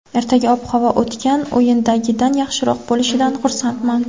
Ertaga ob-havo o‘tgan o‘yindagidan yaxshiroq bo‘lishidan xursandman.